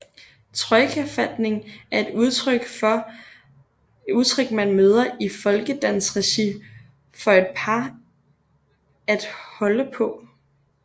Trojkafatning er et udtryk man møder i folkedansregi for et par at holde på